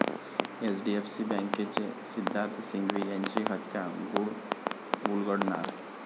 एचडीएफची बँकेचे सिद्धार्थ सिंघवी यांची हत्या, गुढ उलगडणार?